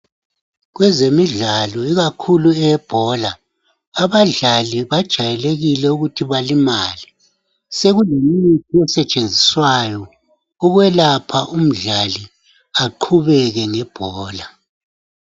Kwezemidlalo ikakhulu eyebhola badlali kujaylekile ukuthi bakimale. Sekulemithi esetshenziswayo ukwelapha umdlali aqhubeke ngebhola.